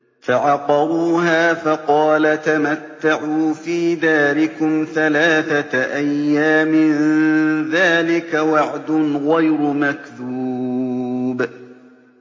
فَعَقَرُوهَا فَقَالَ تَمَتَّعُوا فِي دَارِكُمْ ثَلَاثَةَ أَيَّامٍ ۖ ذَٰلِكَ وَعْدٌ غَيْرُ مَكْذُوبٍ